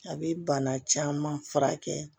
A bɛ bana caman furakɛ